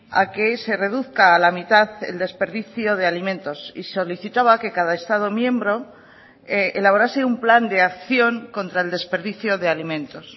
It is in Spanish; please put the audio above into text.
a que se reduzca a la mitad el desperdicio de alimentos y solicitaba que cada estado miembro elaborase un plan de acción contra el desperdicio de alimentos